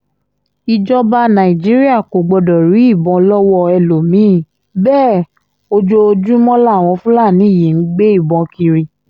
ìjọba nàìjíríà kò gbọdọ̀ rí ìbọn lọ́wọ́ ẹlòmí-ín bẹ́ẹ̀ ojoojúmọ́ làwọn fúlàní yìí ń gbé ìbọn kiri